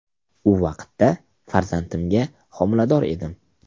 U vaqtda farzandimga homilador edim.